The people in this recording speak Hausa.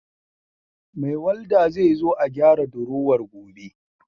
Mai Walda zai zo ya gyara drowar gobe.